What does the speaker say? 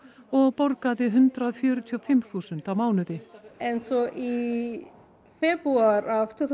og borgaði hundrað fjörutíu og fimm þúsund á mánuði svo í febrúar af tvö